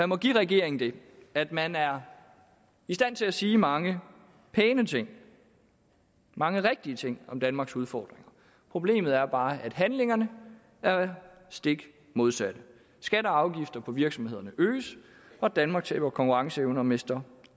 må give regeringen det at man er i stand til at sige mange pæne ting mange rigtige ting om danmarks udfordringer problemet er bare at handling gør det stik modsatte skatter og afgifter på virksomhederne øges og danmark taber konkurrenceevne og mister